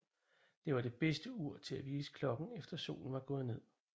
Det var det bedste ur til at vise klokken efter Solen var gået ned